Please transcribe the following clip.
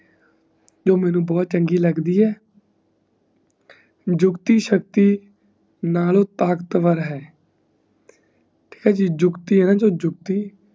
ਜੋ ਮੇਨੂ ਬਹੁਤ ਚੰਗੀ ਲੱਗਦੀ ਈ ਝੁਕਤੀ ਸ਼ਕਤੀ ਨਾਲੋਂ ਤਾਕਤਵਰ ਹੈ ਠੀਕ ਹੈ ਨਾ ਜੀ ਝੁਕਤੀ ਹੈ ਨਾ ਝੁਕਤੀ